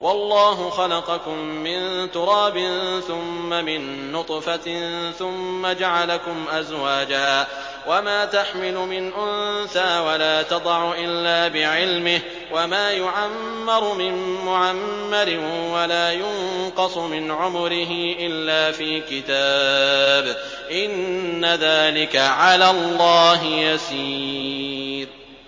وَاللَّهُ خَلَقَكُم مِّن تُرَابٍ ثُمَّ مِن نُّطْفَةٍ ثُمَّ جَعَلَكُمْ أَزْوَاجًا ۚ وَمَا تَحْمِلُ مِنْ أُنثَىٰ وَلَا تَضَعُ إِلَّا بِعِلْمِهِ ۚ وَمَا يُعَمَّرُ مِن مُّعَمَّرٍ وَلَا يُنقَصُ مِنْ عُمُرِهِ إِلَّا فِي كِتَابٍ ۚ إِنَّ ذَٰلِكَ عَلَى اللَّهِ يَسِيرٌ